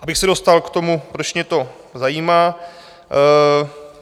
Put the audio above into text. Abych se dostal k tomu, proč mě to zajímá.